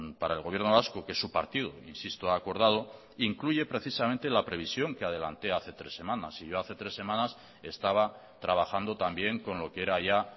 para el gobierno vasco que su partido insisto ha acordado incluye precisamente la previsión que adelanté hace tres semanas y yo hace tres semanas estaba trabajando también con lo que era ya